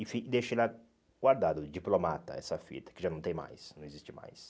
E fi deixei lá guardado, diplomata, essa fita, que já não tem mais, não existe mais.